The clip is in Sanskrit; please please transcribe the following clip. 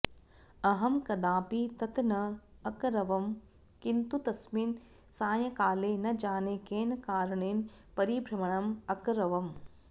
अहं कदापि तत् न अकरवं किन्तु तस्मिन् सायङ्काले न जाने केन कारणेन परिभ्रमणम् अकरवम्